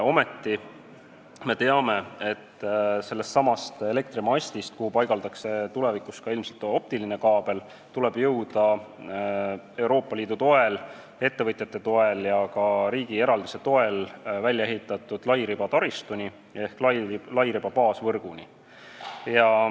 Ometi me teame, et sellesama elektrimastiga, kuhu ilmselt tulevikus paigaldatakse ka optiline kaabel, tuleb jõuda Euroopa Liidu, ettevõtjate ja ka riigieraldiste toel välja ehitatud lairibataristuni ehk lairiba baasvõrguni.